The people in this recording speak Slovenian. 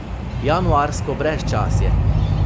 Januarsko brezčasje.